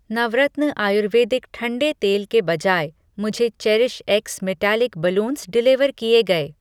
नवरत्न आयुर्वेदिक ठंडे तेल के बजाय, मुझे cherish x metallic balloons deliver किए गए।